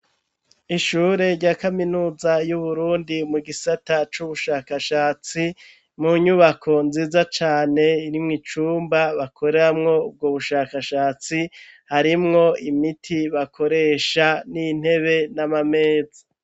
Ishure rya kaminuza y'Uburundi mu gisata c'ubushakashatsi mu nyubako nziza cane irimwo icumba bakoramwo ubwo bushakashatsi harimwo imiti bakoresha n'intebe n'amameza.